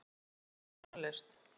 Ég er alæta á tónlist.